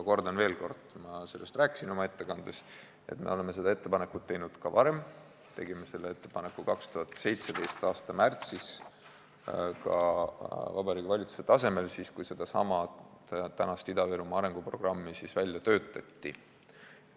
Kordan veel, ma rääkisin oma ettekandes, et me oleme seda ettepanekut teinud ka varem, tegime selle ettepaneku 2017. aasta märtsis ka Vabariigi Valitsuse tasemel, siis, kui sedasama tänast Ida-Virumaa arenguprogrammi välja töötati.